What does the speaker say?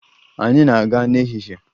Anyị na-aga n'ehihie.